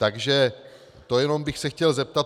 Takže to jenom bych se chtěl zeptat.